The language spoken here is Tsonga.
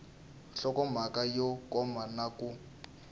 nhlokomhaka yo koma na ku